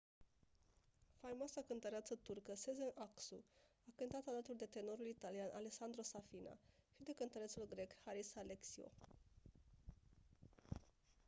faimoasa cântăreață turcă sezen aksu a cântat alături de tenorul italian alessandro safina și de cântărețul grec haris alexiou